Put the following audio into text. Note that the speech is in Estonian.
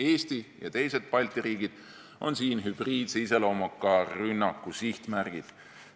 Eesti ja teised Balti riigid on siin hübriidse iseloomuga rünnaku sihtmärgid.